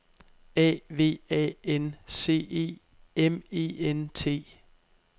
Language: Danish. A V A N C E M E N T